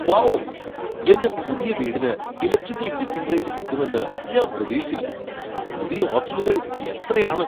Wow, എന്റെ പുതിയ വീടിന് ഇലക്ട്രിക്കൽ ഫിറ്റിംഗ് റേഞ്ച് കിട്ടുമെന്ന് ഞാൻ പ്രതീക്ഷിച്ചില്ല പുതിയ ഓപ്ഷനുകൾ എത്രയാണ്!